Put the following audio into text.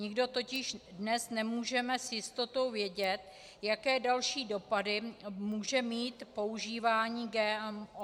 Nikdo totiž dnes nemůžeme s jistotou vědět, jaké další dopady může mít používání GMO.